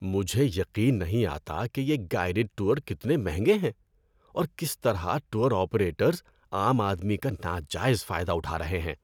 مجھے یقین نہیں آتا کہ یہ گائیڈڈ ٹور کتنے مہنگے ہیں اور کس طرح ٹور آپریٹرز عام آدمی کا ناجائز فائدہ اٹھا رہے ہیں۔